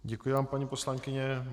Děkuji vám, paní poslankyně.